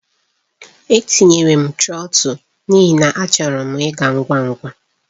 Etinyere m trọtul n'ihi na achọrọ m ịga ngwa ngwa.